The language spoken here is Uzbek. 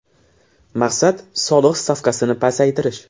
Maqsad – soliq stavkasini pasaytirish.